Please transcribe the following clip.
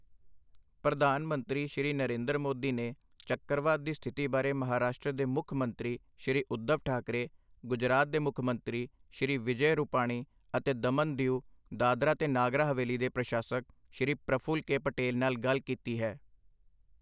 ਪ੍ਰਧਾਨ ਮੰਤਰੀ, ਸ਼੍ਰੀ ਨਰਿੰਦਰ ਮੋਦੀ ਨੇ ਚੱਕਰਵਾਤ ਦੀ ਸਥਿਤੀ ਬਾਰੇ ਮਹਾਰਾਸ਼ਟਰ ਦੇ ਮੁੱਖ ਮੰਤਰੀ ਸ਼੍ਰੀ ਉਧਵ ਠਾਕਰੇ, ਗੁਜਰਾਤ ਦੇ ਮੁੱਖ ਮੰਤਰੀ ਸ਼੍ਰੀ ਵਿਜੈ ਰੂਪਾਣੀ ਅਤੇ ਦਮਨ ਦੀਊ, ਦਾਦਰਾ ਤੇ ਨਗਰ ਹਵੇਲੀ ਦੇ ਪ੍ਰਸ਼ਾਸਕ ਸ਼੍ਰੀ ਪ੍ਰਫੁੱਲ ਕੇ ਪਟੇਲ ਨਾਲ ਗੱਲ ਕੀਤੀ ਹੈ।